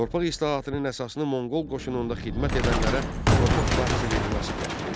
Torpaq islahatının əsasını Monqol qoşununda xidmət edənlərə torpaq sahəsi verilməsi təşkil edirdi.